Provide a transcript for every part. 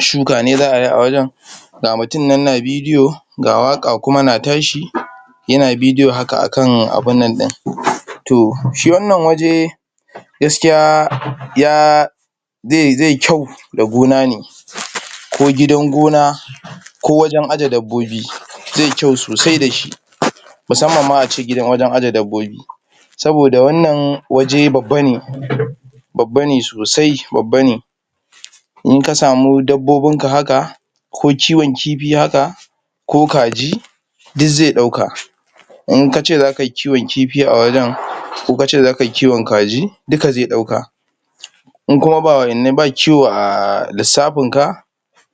shuka ne za ayi a wajen. Ga mutun nan na bidiyo, ga waƙa kuma na tashi, yana bidiyo haka akan abunnan ɗin. To, shi wannan waje, gaskiya?? zai kyau da gona ne, ko gidan gona, ko wajen aje dabbobi, zai kyau sosi dashi. Musamman ma a ce? wajen aje dabbobi, saboda wannan waje babba ne, babba ne sosai, babba ne. In ka samu dabbobin ka haka, ko kiwon kifi haka, ko kaji, du zai ɗauka. In kace za kayi kiwon kifi a wajen, ko kace za kayi kiwon kaji, duka zai ɗauka. In kuma? ba kiwo a? lissafin ka,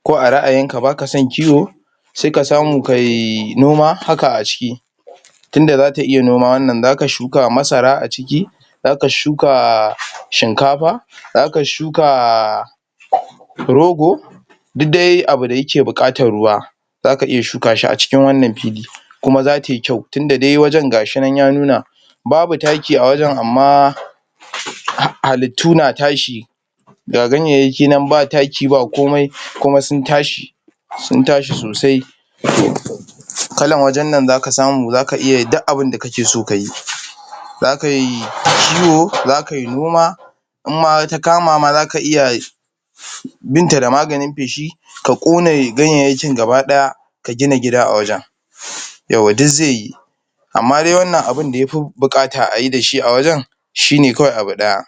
ko a ra'ayin ka baka son kiwo, sai ka samu kai? noma haka a ciki. Tunda zata iya noma wannan, zaka shuka masara a ciki, zaka shuka? shinkafa, zaka shuka? rogo, dud dai abu da yake buƙatar ruwa, zaka iya shuka shi a cikin wannan fili, kuma za tai kyau, tunda dai wajen gashi nan ya nuna. Babu taki a wajen, amma? halittu na tashi, ga ganyayyaki nan ba taki ba komai, kuma sun tashi? sosai. Kalan wajen nan zaka samu, zaka iya yi duk abinda kake so kayi. Za kai? kiwo, za kai noma, In ma ta kama ma zaka iya binta da maganin feshi, ka ƙona ganyayyakin gaba ɗaya, ka gina gida a wajen, yawwa du zai yi. Amma dai wannan abunda yafi buƙata ayi dashi a wajen, shi ne kawai abu ɗaya,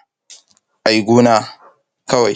ai gona kawai.